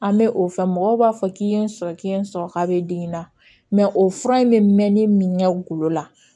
An bɛ o fɔ mɔgɔw b'a fɔ k'i ye n sɔrɔ k'i ye n sɔrɔ k'a bɛ den in na o fura in bɛ mɛn ne min na golo la